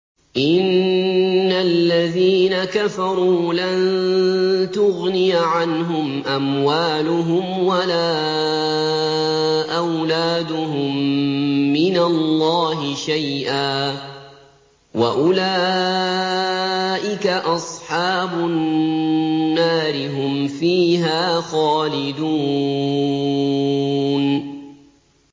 إِنَّ الَّذِينَ كَفَرُوا لَن تُغْنِيَ عَنْهُمْ أَمْوَالُهُمْ وَلَا أَوْلَادُهُم مِّنَ اللَّهِ شَيْئًا ۖ وَأُولَٰئِكَ أَصْحَابُ النَّارِ ۚ هُمْ فِيهَا خَالِدُونَ